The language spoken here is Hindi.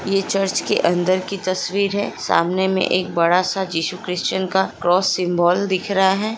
ये चर्च के अंदर की तस्वीर है सामने में एक बड़ा सा टिश्यू क्रिशन का क्रॉस सिम्बोल दिख रहा है|